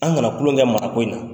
An kana kulon kɛ maa ko in na.